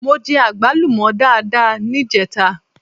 Mo jẹ àgbálùmọ́ dáadáa níjẹta.